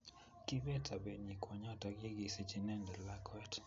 Kiibet sobenyii kwonyoto ye kisich inendet lakwet